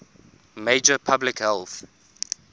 major public health